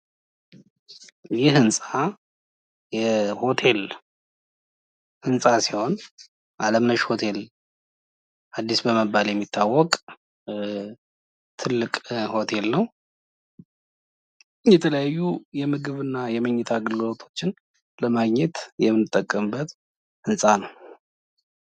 ቡና ቤቶች ብዙውን ጊዜ መክሰስና ቀላል ምግቦችን የሚያቀርቡ ሲሆን ምግብ ቤቶች ደግሞ ሙሉ ምናሌ ያላቸው የተለያዩ ምግቦችን ያቀርባሉ።